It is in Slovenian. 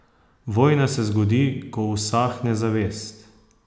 Vojna se zgodi, ko usahne zavest.